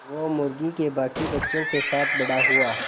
वो मुर्गी के बांकी बच्चों के साथ बड़ा हुआ